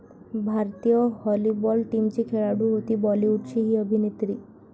भारतीय व्हॉलीबॉल टीमची खेळाडू होती बॉलिवूडची 'ही' अभिनेत्री